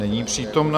Není přítomna.